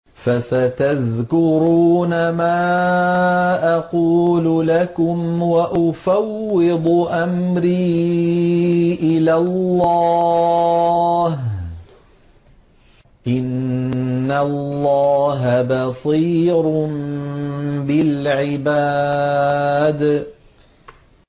فَسَتَذْكُرُونَ مَا أَقُولُ لَكُمْ ۚ وَأُفَوِّضُ أَمْرِي إِلَى اللَّهِ ۚ إِنَّ اللَّهَ بَصِيرٌ بِالْعِبَادِ